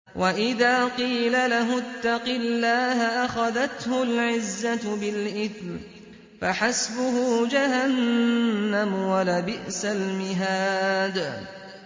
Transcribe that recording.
وَإِذَا قِيلَ لَهُ اتَّقِ اللَّهَ أَخَذَتْهُ الْعِزَّةُ بِالْإِثْمِ ۚ فَحَسْبُهُ جَهَنَّمُ ۚ وَلَبِئْسَ الْمِهَادُ